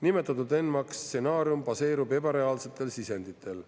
Nimetatud ENMAK stsenaarium baseerub ebareaalsetel sisenditel.